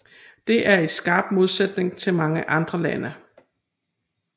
Det er i skarp modsætning til mange andre lande